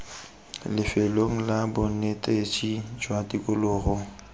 lefelong la bonetetshi jwa tikologo